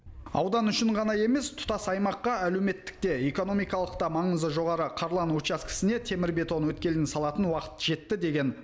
аудан үшін ғана емес тұтас аймаққа әлеуметтік те экономикалық та маңызы жоғары қарлан учаскесіне темірбетон өткелін салатын уақыт жетті деген